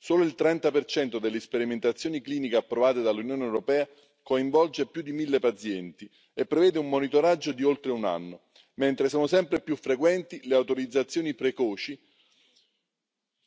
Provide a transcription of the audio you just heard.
Solo il 30 delle sperimentazioni cliniche approvate dall'Unione europea coinvolge più di mille pazienti e prevede un monitoraggio di oltre un anno, mentre sono sempre più frequenti le autorizzazioni precoci